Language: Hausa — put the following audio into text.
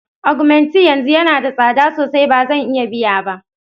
Augmenting yanzu yana da tsada sosai, ba zan iya biya ba.